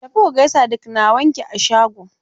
Tafi ku gaisa da ƙnawanki a shago!